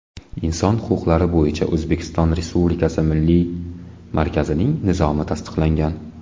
Inson huquqlari bo‘yicha O‘zbekiston Respublikasi milliy markazining nizomi tasdiqlangan.